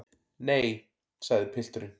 Nei, sagði pilturinn.